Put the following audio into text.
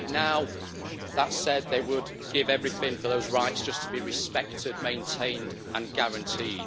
Right now, that said, they would give everything for those rights just to be respected, maintained and guaranteed.